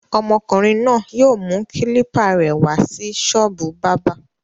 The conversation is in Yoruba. Ọmọkùnrin náà yóò mú kílípà rẹ̀ wá sí ṣọ́ọ́bù bábà.